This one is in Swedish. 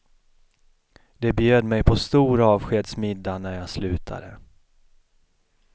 De bjöd mig på stor avskedsmiddag när jag slutade.